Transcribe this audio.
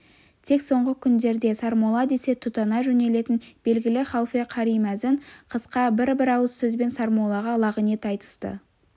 тек соңғы күндерде сармолла десе тұтана жөнелетін белгілі халфе қари мәзін қысқа бір-бір ауыз сөзбен сармоллаға лағынет айтысты